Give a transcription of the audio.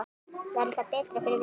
Verður það betra fyrir vikið?